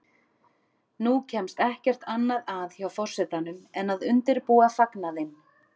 Nú kemst ekkert annað að hjá forsetanum en að undirbúa fagnaðinn.